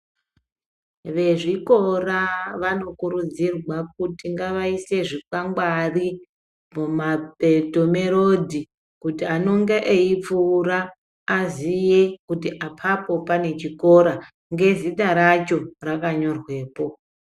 Vezvikora vanokuudzira kuti ngavaise zvikwangwari mumapeto merodhi. Kuti anonga eipfuura aziye kuti apapo pane chikora ngezita racho rakanyorwepo.